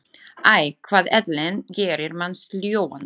Æ, hvað ellin gerir mann sljóan.